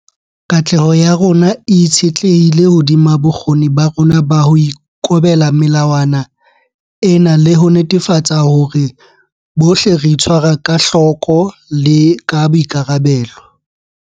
Katleho ya rona e itshetlehile hodima bokgoni ba rona ba ho ikobela melawana ena le ho netefatsa hore bohle re itshwara ka hloko le ka boikarabelo.